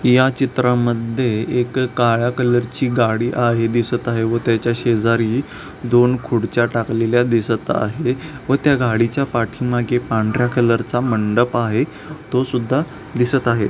या चित्रा मध्ये एक काळ्या कलर ची गाडी आहे दिसत आहे व त्याच्या शेजारी दोन खूर्च्या टाकलेले दिसत आहे व त्या गाडीच्या पाठीमाघे पांढर्‍या कलर चा मंडप आहे तो सुद्धा दिसत आहे.